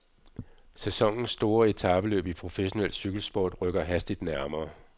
Sæsonens store etapeløb i professionel cykelsport rykker hastigt nærmere.